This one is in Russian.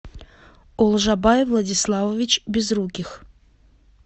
олжабай владиславович безруких